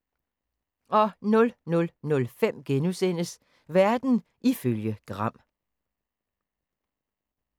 00:05: Verden ifølge Gram *